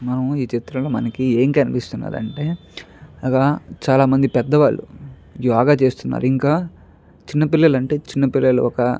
మనకి ఈ చిత్రం లో ఏం కనిపిస్తుంది అంటే అక్కడ చాల మంది పెద్ద వాళ్ళు యోగ చేస్తున్నారు ఇంకా చిన్న పిల్లలు అంటే చిన్న పిల్లలు --